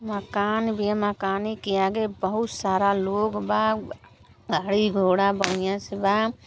मकान बिया। मकाने के आगे बोहोत सारा लोग बा। गाड़ी घोडा बढ़िया से बा।